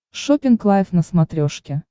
шоппинг лайф на смотрешке